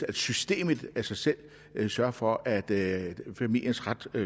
at systemet af sig selv sørger for at familiens ret